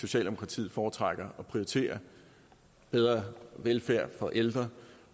socialdemokratiet foretrækker at prioritere bedre velfærd for ældre